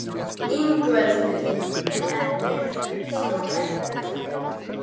Ingveldur: Er þetta ekki stórhættulegt tæki?